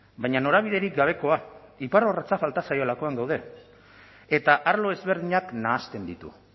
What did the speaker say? baina norabiderik gabekoa iparrorratza falta zaiolakoan gaude eta arlo ezberdinak nahasten ditu